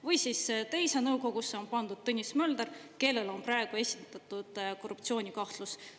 Või siis teise nõukogusse on pandud Tõnis Mölder, kellele on praegu esitatud korruptsioonikahtlus.